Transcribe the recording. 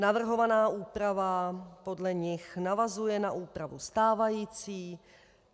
Navrhovaná úprava podle nich navazuje na úpravu stávající.